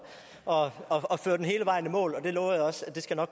og og føre den hele vejen i mål